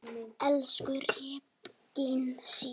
Elsku Regína Sif.